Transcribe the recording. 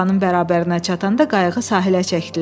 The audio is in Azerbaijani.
Qalanın bərabərinə çatanda qayığı sahilə çəkdilər.